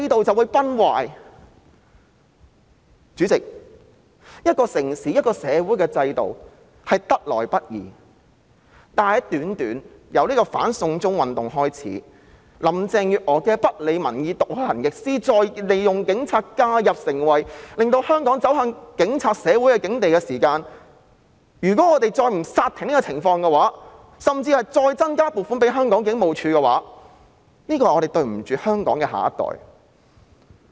主席，一個城市、一個社會的制度得來不易，但由"反送中"運動開始，林鄭月娥不理民意、倒行逆施，再利用警察介入，在短短的時間裏令香港走向警察社會的境地，如果我們不阻止這種情況，甚至再增加警務處的撥款，我們便會對香港的下一代有所虧欠。